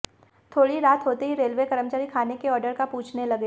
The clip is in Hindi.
थोड़ी रात होते ही रेलवे कर्मचारी खाने के ऑर्डर का पूछने लगे